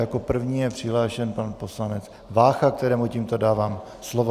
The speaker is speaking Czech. Jako první je přihlášen pan poslanec Vácha, kterému tímto dávám slovo.